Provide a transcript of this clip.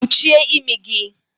Kpuchie imi gị!